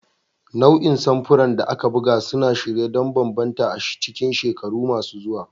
Nau'in samfuran da aka buga suna shirye don bambanta a cikin shekaru masu zuwa.